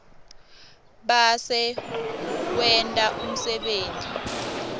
bese wenta umsebenti